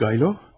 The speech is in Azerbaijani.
Svridrigaylov?